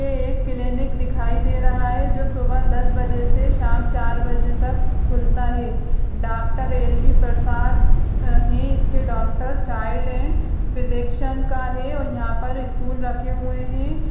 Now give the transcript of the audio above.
ये एक क्लिनिक दिखाई दे रहा है जो सुबह दस बजे से शाम चार बजे तक खुलता है। Doctor L B. प्रसाद अ हैं इसके डॉकटर चाइल्ड एंड फिजिशियन का है और यहाँ पे स्टूल रखे हुए है।